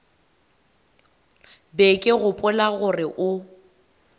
be ke gopola gore o